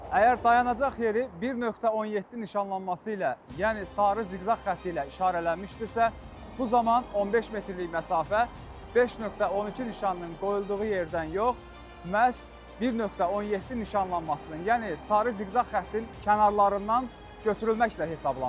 Əgər dayanacaq yeri 1.17 nişanlanması ilə, yəni sarı ziqzaq xətti ilə işarələnmişdirsə, bu zaman 15 metrlik məsafə 5.12 nişanının qoyulduğu yerdən yox, məhz 1.17 nişanlanmasının, yəni sarı ziqzaq xəttin kənarlarından götürülməklə hesablanır.